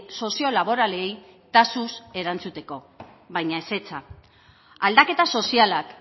soziolaboralei taxuz erantzuteko baina ezetza aldaketa sozialak